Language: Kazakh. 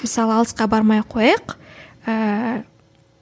мсыалы алысқа бармай ақ қояйық ыыы